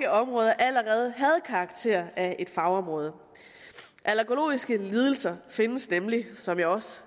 at områder allerede havde karakter af et fagområde allergologiske lidelser findes nemlig som jeg også